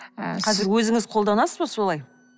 қазір өзіңіз қолданасыз ба солай